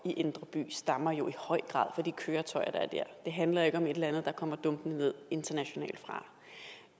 i indre by stammer jo i høj grad fra de køretøjer der er dér det handler ikke om et eller andet der kommer dumpende ned internationalt fra